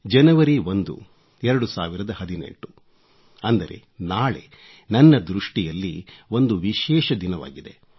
ಜನವರಿ 1 2018 ಅಂದರೆ ನಾಳೆ ನನ್ನ ದೃಷ್ಟಿಯಲ್ಲಿ ಒಂದು ವಿಶೇಷ ದಿನವಾಗಿದೆ